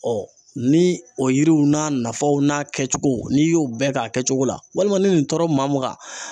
ni o yiriw n'a nafaw n'a kɛcogo n'i y'o bɛɛ k'a kɛcogo la walima ni nin tɔɔrɔ maa